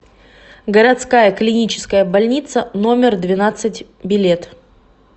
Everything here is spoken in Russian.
городская клиническая больница номер двенадцать билет